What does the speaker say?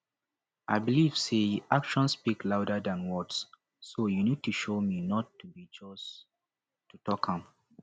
i believe say actions speak louder than words so you need to show not be just to to talk am